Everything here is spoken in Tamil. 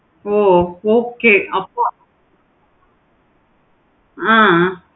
ஓ okay அப்போ ஆஹ்